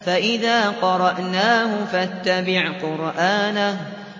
فَإِذَا قَرَأْنَاهُ فَاتَّبِعْ قُرْآنَهُ